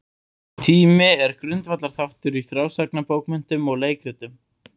Tími er grundvallarþáttur í frásagnarbókmenntum og leikritum.